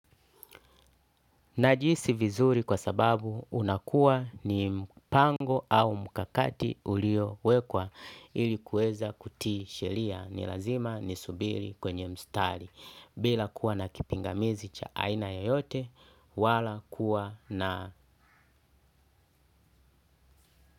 Najihisi vizuri kwa sababu unakuwa ni mpango au mkakati uliowekwa ili kuweza kutii sheria ni lazima nisubiri kwenye mstari bila kuwa na kipingamizi cha aina yoyote wala kuwa na.